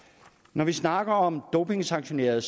når vi snakker om dopingsanktionerede